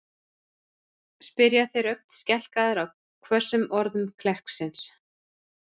spyrja þeir, ögn skelkaðir á hvössum orðum klerksins.